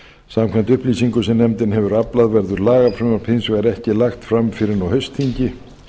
samkvæmt upplýsingum sem nefndin hefur aflað verður lagafrumvarp hins vegar ekki lagt fram fyrr en á haustþingi